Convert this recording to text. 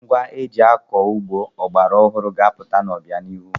Ngwa eji akọ ugbo ọgbaraọhụrụ ga-apụta n'ọbianihu.